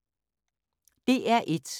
DR1